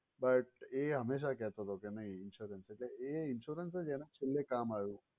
But એ હમેશા કેહતો હતો કે નહીં insurance એ insurance જ એને છેલ્લે કામ આવ્યો.